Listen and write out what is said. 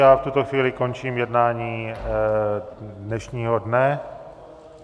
Já v tuto chvíli končím jednání dnešního dne.